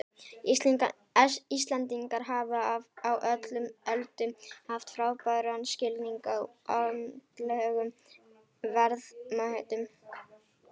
Íslendingar hafa á öllum öldum haft frábæran skilning á andlegum verðmætum.